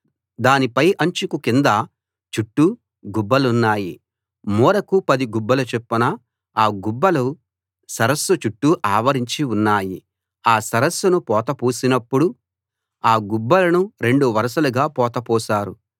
దాని పై అంచుకు కింద చుట్టూ గుబ్బలున్నాయి మూరకు 10 గుబ్బల చొప్పున ఆ గుబ్బలు సరస్సు చుట్టూ ఆవరించి ఉన్నాయి ఆ సరస్సును పోత పోసినప్పుడు ఆ గుబ్బలను రెండు వరసలుగా పోత పోశారు